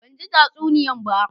Ban gi tsasuniyan ba